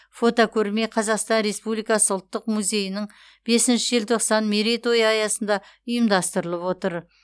фотокөрме қазақстан республикасы ұлттық музейінің бесінші желтоқсан мерейтойы аясында ұйымдастырылып отыр